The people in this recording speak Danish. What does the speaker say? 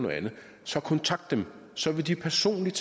så kontakte dem så vil de personligt